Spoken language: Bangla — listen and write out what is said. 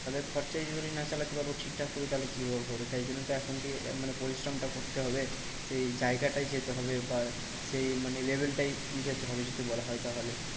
তাদের খরচাই যদি না চালাতে পারবো ঠিকঠাক করে তাহলে কি আর হবে। তাই জন্য তো এখন থেকে মানে পরিশ্রমটা করতে হবে। সেই জায়গাটায় যেতে হবে বা সেই মানে level টায় যেতে হবে যদি বলা হয় তাহলে।